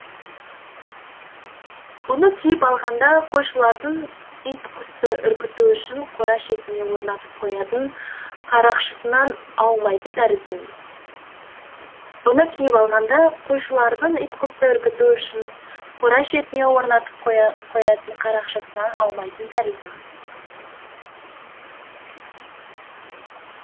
бұны киіп алғанда қойшылардың ит құсты үркіту үшін қора шетіне орнатып қоятын қарақшысынан аумайтын тәріздімін бұны киіп алғанда қойшылардың ит құсты үркіту үшін қора шетіне орнатып қоятын қарақшысынан аумайтын тәріздімін